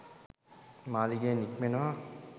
මාළිගයෙන් නික්මෙනවා